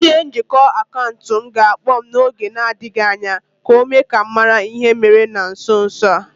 My account manager will soon call me to intimate me the recent happening